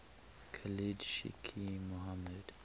khalid sheikh mohammed